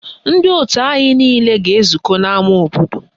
Ndị òtù anyị niile a ga-ezukọ n'ama obodo?